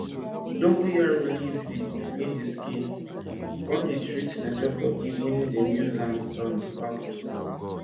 dongoyaro leaf dey clean di skin come dey treat smell smell for body wen dem use am um baff